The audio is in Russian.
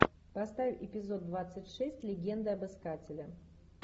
поставь эпизод двадцать шесть легенды об искателе